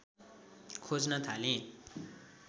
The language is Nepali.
खोज्न थालेँ